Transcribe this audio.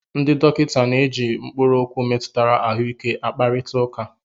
Ndị dọkịta na-eji mkpụrụ okwu metụtara ahụike a kparịta ụka.